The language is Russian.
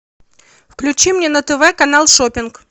включи мне на тв канал шоппинг